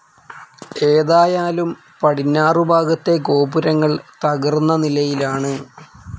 ഏതായാലും പടിഞ്ഞാറുഭാഗത്തെ ഗോപുരങ്ങൾ തകർന്ന നിലയിലാണ്.